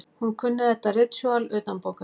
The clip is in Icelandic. Hún kunni þetta ritúal utanbókar.